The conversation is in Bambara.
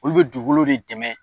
Olu be dugukolo de dɛmɛ